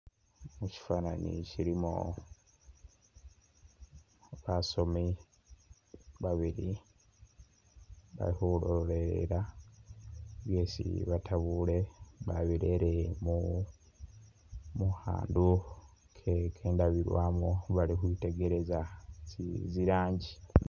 Mushifanani shilimo basomi babili bali khulolelela byesi batabule babirere mu khandu khe ndabiramu baali khwitegereza tsi ranji.